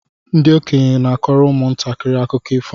Ndị okenye n'akọrọ ụmụ ntakịrị akụkọ ifo